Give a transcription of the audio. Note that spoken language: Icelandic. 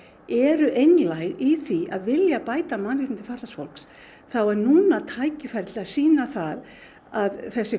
eru einlæg í því að vilja bæta mannréttindi fatlaðs fólks þá er núna tækifærið til að sýna það að þessi